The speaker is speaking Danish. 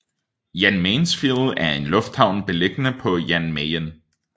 Jan Mayensfield er en lufthavn beliggende på Jan Mayen